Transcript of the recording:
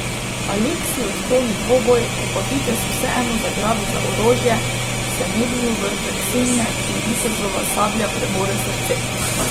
Aleksij odkloni dvoboj, ko pa vitez vseeno zgrabi za orožje, se mednju vrže Ksenija, ki ji vitezova sablja prebode srce.